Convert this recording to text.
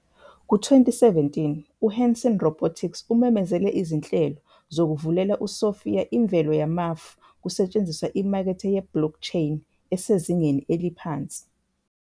Ku-2017 uHanson Robotics umemezele izinhlelo zokuvulela uSophia imvelo yamafu kusetshenziswa imakethe ye- blockchain esezingeni eliphansi.